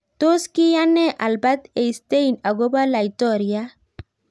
Tos kiyaan nee Albert Einstein Akopo laitoriat